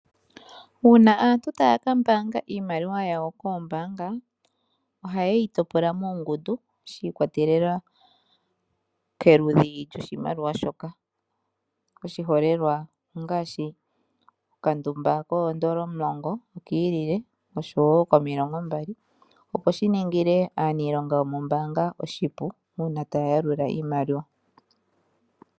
Uuna antu taya ka mbaanga iimaliwa yawo koombanga, ohaye yi topola muungundu shi ikwatelela koludhi loshimaliwa shoka. Oshiholelwa ongaashi okandumba koondola omulongo okiiile, oshowo komilongo mbali. Opo dhi ningile aanilonga yomombanga oshipu uuna taya yalula iimaliwa.